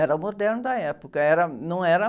Era o moderno da época. Era, não era...